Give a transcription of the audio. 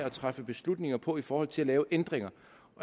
at træffe beslutninger på i forhold til at lave ændringer